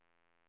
sista